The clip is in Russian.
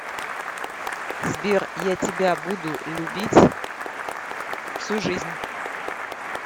сбер я тебя буду любить всю жизнь